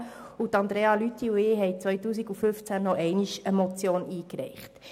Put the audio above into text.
Grossrätin Lüthi und ich reichten 2015 nochmals eine Motion ein.